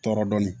Tɔɔrɔ dɔɔnin